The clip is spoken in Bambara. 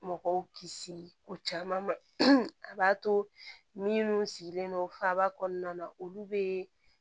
Mɔgɔw kisi ko caman ma a b'a to minnu sigilen don faba kɔnɔna na olu bɛ